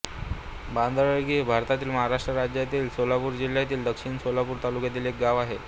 बांदळगी हे भारतातील महाराष्ट्र राज्यातील सोलापूर जिल्ह्यातील दक्षिण सोलापूर तालुक्यातील एक गाव आहे